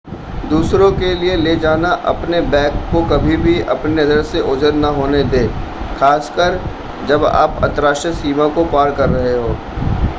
दूसरों के लिए ले जाना अपने बैग को कभी भी अपनी नज़र से ओझल ना होने दें खासकर जब आप अंतरराष्ट्रीय सीमा को पार कर रहे हों